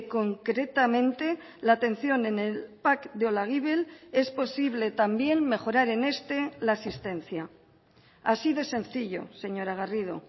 concretamente la atención en el pac de olaguibel es posible también mejorar en este la asistencia así de sencillo señora garrido